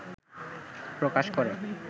প্রকাশ করে